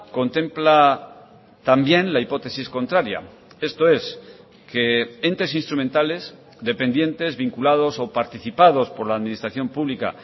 contempla también la hipótesis contraria esto es que entes instrumentales dependientes vinculados o participados por la administración pública